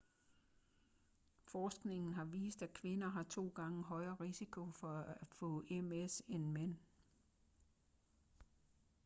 forskning har vist at kvinder har to gange højere risiko for at få ms end mænd